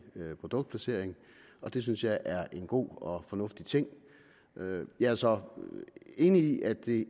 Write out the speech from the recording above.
produktplacering det synes jeg er en god og fornuftig ting jeg er så enig i at det